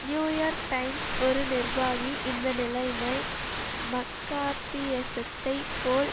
new York Times ஒரு நிர்வாகி இந்த நிலைமை மக்கார்த்தியிசத்தைப் போல்